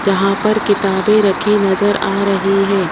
जहां पर किताबें रखी नजर आ रही है।